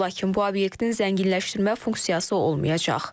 Lakin bu obyektin zənginləşdirmə funksiyası olmayacaq.